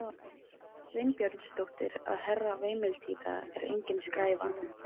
Sveinbjörnsdóttur að Herra veimiltíta er engin skræfa!